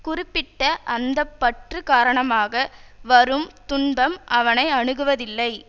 குறிப்பிட்ட அந்த பற்று காரணமாக வரும் துன்பம் அவனை அணுகுவதில்லை